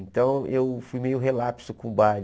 Então, eu fui meio relapso com o baile.